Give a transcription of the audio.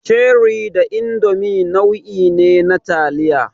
Cherie da Indomi nau'i ne na taliya.